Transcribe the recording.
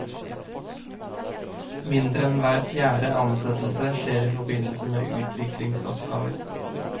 Mindre enn hver fjerde ansettelse skjer i forbindelse med utviklingsoppgaver.